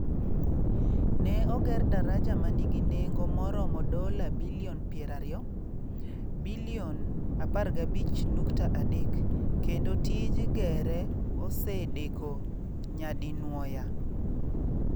Ne oger daraja ma nigi nengo maromo dola bilion 20 (bilion 15.3) kendo tij gere osedeko nyadinwoya.